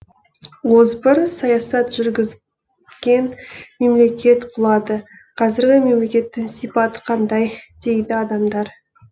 озбыр саясат жүргізген мемлекет құлады қазіргі мемлекеттің сипаты қандай дейді адамдар